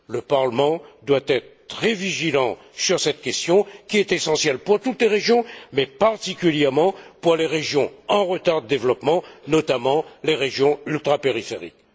Le Parlement doit être très vigilant sur cette question, qui est essentielle pour toutes les régions, mais particulièrement pour les régions en retard de développement, notamment les régions ultrapériphériques.